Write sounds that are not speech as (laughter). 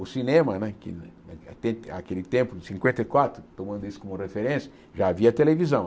O cinema, né que (unintelligible) aquele tempo, em cinquenta e quatro, tomando isso como referência, já havia televisão.